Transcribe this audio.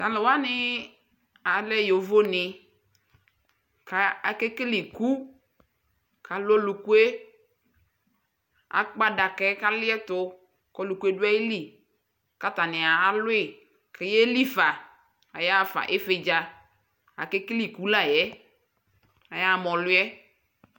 Talʊwanɩ alɛ yovoni kʊ akekele iku Kʊ alʊ ɔlʊku yɛ Akpa adaka yɛ kʊ alɩɛtʊ kʊ ɔlʊku yɛ dʊ ayili Kʊ atani alʊ yi kayelifa Ayaɣafa ɩvɩdza Ake kele iku layɛ Ayaɣa ma ɔlʊ yɛ